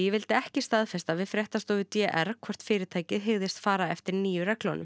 vildi ekki staðfesta við fréttastofu d r hvort fyrirtækið hyggðist fara eftir nýju reglunum